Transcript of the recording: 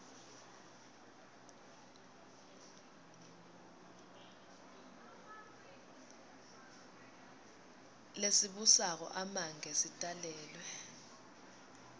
lesibusako amange sitalelwe